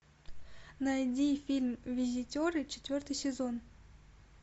найди фильм визитеры четвертый сезон